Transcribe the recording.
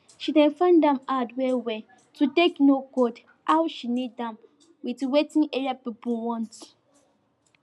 she dey find am hard well well to take know god how she need am with wetin area pipo wants